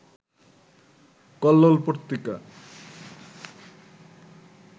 Kallol Patrika